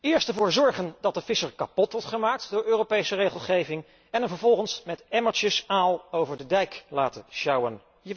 Eerst ervoor zorgen dat de visser kapot wordt gemaakt door Europese regelgeving en hem vervolgens met emmertjes aal over dijk laten sjouwen.